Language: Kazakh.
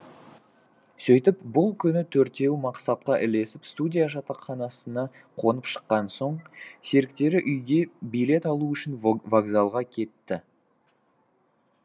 сөйтіп бұл күні төртеуі мақсатқа ілесіп студия жатақханасына қонып шыққан соң серіктері үйге билет алу үшін вокзалға кетті